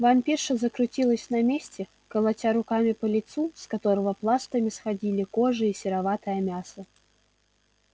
вампирша закрутилась на месте колотя руками по лицу с которого пластами сходили кожа и сероватое мясо